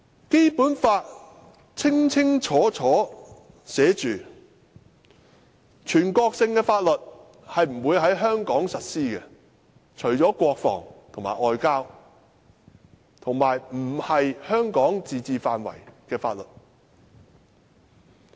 《基本法》清楚訂明，全國性法律不會在香港實施，除了國防和外交，以及不屬香港自治範圍的法律。